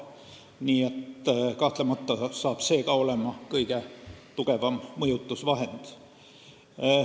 Nii et kahtlemata saab selle õiguse äravõtmisest kõige tugevam mõjutusvahend.